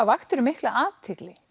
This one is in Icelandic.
vaktir þú mikla athygli